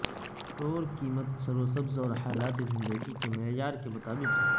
tour قیمت services اور حالات زندگی کے معیار کے مطابق ہے